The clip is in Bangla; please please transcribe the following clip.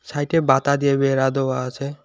সাইটে দিয়ে বেড়া দেওয়া আছে।